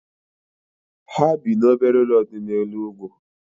Ha bi n'obere ụlọ dị n'elu ugwu